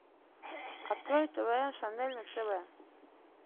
открой тв шанель на тв